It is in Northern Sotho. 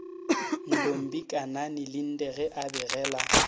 ntombikanani linde ge a begela